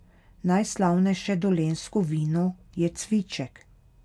Najslavnejše dolenjsko vino je cviček.